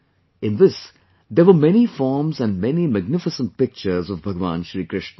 In this there were many forms and many magnificent pictures of Bhagwan Shri Krishna